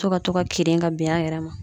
To ka to ka kirin ka ben a yɛrɛ ma